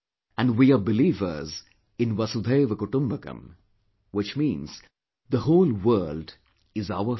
And, we are believers in "Vasudhaiv Kutumbakam" which means the whole world is our family